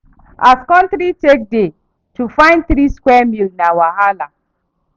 As country take dey, to fyn three square meal na wahala.